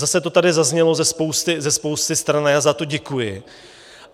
Zase to tady zaznělo ze spousty stran a já za to děkuji.